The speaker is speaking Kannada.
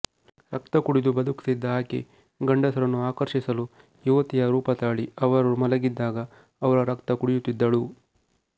ರಕ್ತ ಕುಡಿದು ಬದುಕುತ್ತಿದ್ದ ಆಕೆ ಗಂಡಸರನ್ನು ಆಕರ್ಷಿಸಲು ಯುವತಿಯ ರೂಪ ತಾಳಿ ಅವರು ಮಲಗಿದಾಗ ಅವರ ರಕ್ತ ಕುಡಿಯುತ್ತಿದ್ದಳು